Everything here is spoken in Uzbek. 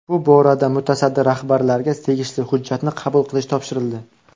Bu borada mutasaddi rahbarlarga tegishli hujjatni qabul qilish topshirildi.